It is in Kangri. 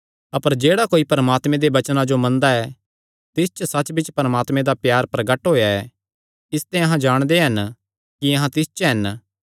अपर जेह्ड़ा कोई परमात्मे दे वचनां जो मनदा ऐ तिस च सच्चबिच्च परमात्मे दा प्यार प्रगट होएया ऐ इसते अहां जाणदे हन कि अहां तिस च हन